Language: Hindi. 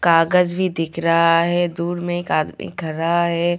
कागज भी दिख रहा है दूर में एक आदमी खड़ा है.